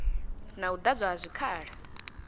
na u ḓadzwa ha zwikhala